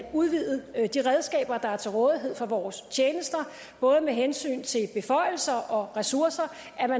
udvide de redskaber der er til rådighed for vores tjenester både med hensyn til beføjelser og ressourcer